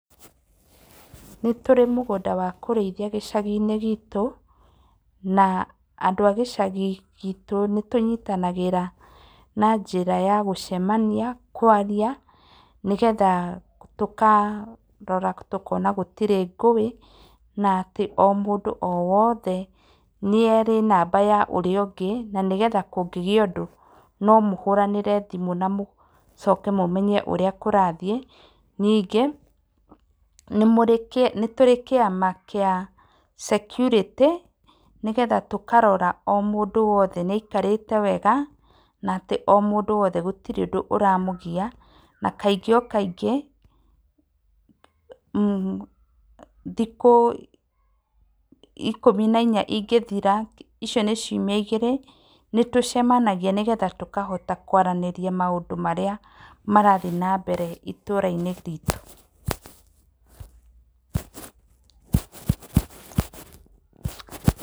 Nĩ tũrĩ mũgũnda wa kũrĩithia gĩcagi-inĩ gitũ na andũ a gĩcagi gitũ nĩ tũnyitanagĩra na njĩra ya gũcemania, kwaria, nĩgetha tũkarora tũkona gũtirĩ ngũĩ na atĩ o mũndũ o wothe nĩ arĩ na namba ya ũrĩa, na nĩgetha kũngĩa ũndũ no mũhũranĩre thimu mũmenye ũrĩa kũrathiĩ, ningĩ nĩ tũrĩ kĩama gĩa security nĩgetha tũkarora o mũndũ o wothe nĩ aikarĩte wega na mũndũ o wothe gũtirĩ ũndũ ũramũgia na kaingĩ o kaingĩ, thikũ ikũmi na inya ingĩthira icio nĩ ciumia igĩrĩ nĩ tũcemanagia nĩgetha tũkahota kwaranĩria maũndũ marĩa marathiĩ na mbere itũũra-inĩ ritũ